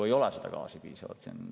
Ei ole seda gaasi piisavalt siin.